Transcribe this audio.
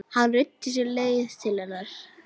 Hann ruddi sér leið til hennar.